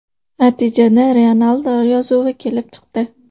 Natijada Ryanaldo yozuvi kelib chiqdi.